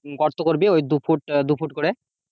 গর্ত করবি ওই দু ফুট দু ফুট করে চার ফুট আর